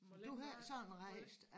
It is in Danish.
Du havde sådan rejst